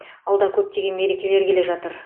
алда көптеген мерекелер келе жатыр